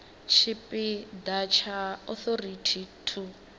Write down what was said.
tshipi ḓa tsha authority to